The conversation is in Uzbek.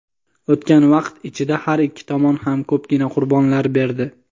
O‘tgan vaqt ichida har ikki tomon ham ko‘pgina qurbonlar berdi.